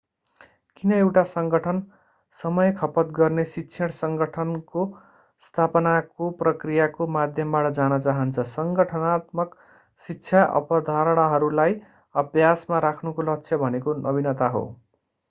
किन एउटा संगठन समय खपत गर्ने शिक्षण संगठनको स्थापनाको प्रक्रियाको माध्यमबाट जान चाहन्छ संगठनात्मक शिक्षा अवधारणाहरूलाई अभ्यासमा राख्नुको लक्ष्य भनेको नवीनता हो